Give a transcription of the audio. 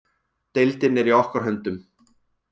Deildin er í okkar höndum.